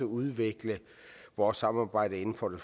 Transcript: udvikle vores samarbejde inden for det